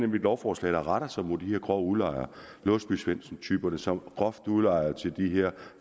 lovforslag der retter sig mod de her grove udlejere låsby svendsen typerne som udlejer til de her